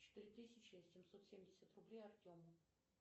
четыре тысячи семьсот семьдесят рублей артему